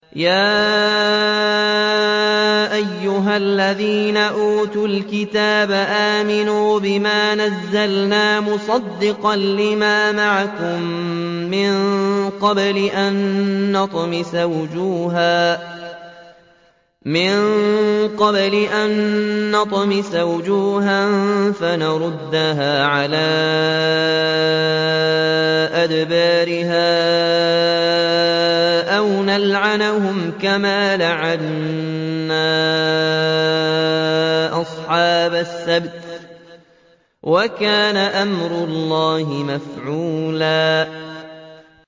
يَا أَيُّهَا الَّذِينَ أُوتُوا الْكِتَابَ آمِنُوا بِمَا نَزَّلْنَا مُصَدِّقًا لِّمَا مَعَكُم مِّن قَبْلِ أَن نَّطْمِسَ وُجُوهًا فَنَرُدَّهَا عَلَىٰ أَدْبَارِهَا أَوْ نَلْعَنَهُمْ كَمَا لَعَنَّا أَصْحَابَ السَّبْتِ ۚ وَكَانَ أَمْرُ اللَّهِ مَفْعُولًا